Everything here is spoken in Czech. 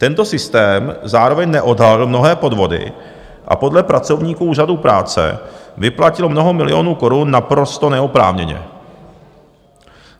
Tento systém zároveň neodhalil mnohé podvody a podle pracovníků Úřadu práce vyplatil mnoho milionů korun naprosto neoprávněně.